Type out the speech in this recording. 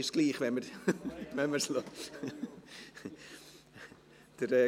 Ist es egal, wenn wir es lassen?